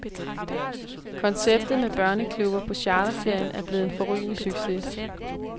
Konceptet med børneklubber på charterferien er blevet en forrygende succes.